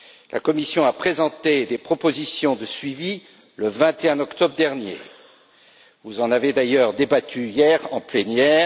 La Commission a présenté des propositions de suivi le 21 octobre dernier, vous en avez d'ailleurs débattu hier en plénière.